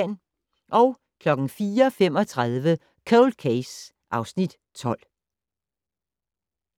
04:35: Cold Case (Afs. 12)